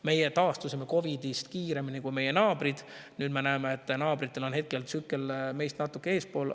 Meie taastusime COVID‑ist kiiremini kui meie naabrid, nüüd me näeme, et naabritel on tsükkel meist natuke eespool.